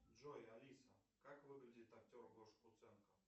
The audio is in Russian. джой алиса как выглядит актер гоша куценко